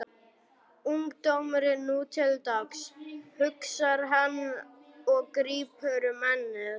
Ungdómurinn nú til dags, hugsar hann og grípur um ennið.